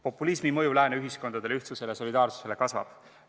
" Populismi mõju Lääne ühiskondadele, ühtsusele ja solidaarsusele seega kasvab.